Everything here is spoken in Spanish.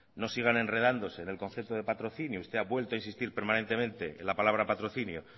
no sigan enredándose en el concepto de patrocinio usted ha vuelto a insistir permanentemente en la palabra patrocinio